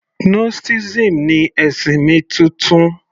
Gnosticism ni ẹ̀sìn mi titun